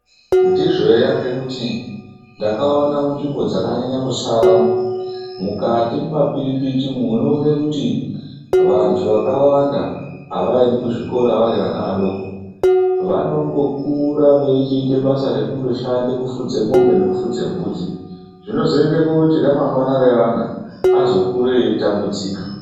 Ndizvo eya ngekuti ndakaone munzvimbo dzakanyanye kusara mukati mumapiripiti umwo unoone kuti vantu vakawanda avaendi kuzvikora vari vana vadoko vanongokura veichiite basa rekundoshande kufudze mombe nekufudze mbudzi zvinozoende koti remangwana reana azokure eitambudzika.